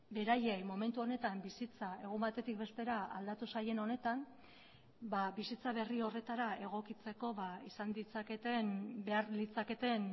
beraiei momentu honetan bizitza egun batetik bestera aldatu zaien honetan bizitza berri horretara egokitzeko izan ditzaketen behar litzaketen